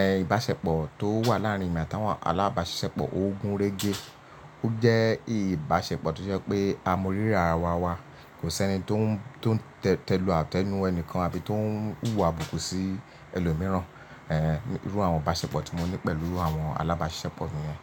Ẹ̀, ìbáṣepọ̀ tó wà láàrin èmi àtàwọn alábáṣiṣẹ́pọ̀ ò gún régé. Ó jẹ́ ìbáṣepọ̀ tó ṣe pé a mọ rírà ara wa wa. Kò sí ẹni tó ń, tó ń tẹ̀lú àtẹnu ẹni kan àbí tó ń hùwà abùkù sí ẹlòmíràn. Ẹ̀, irú àwọn ìbáṣepọ̀ tí mo ní pẹ̀lú àwọn alábáṣiṣẹ́pọ̀ mi yẹn.